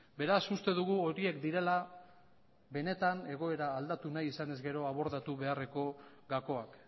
beraz uste dugu horiek direla benetan egoera aldatu nahi izanez gero abordatu beharreko gakoak